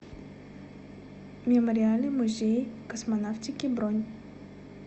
мемориальный музей космонавтики бронь